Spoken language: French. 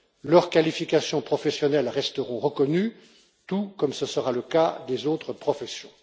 Leurs qualifications professionnelles resteront reconnues, tout comme ce sera le cas des autres professions.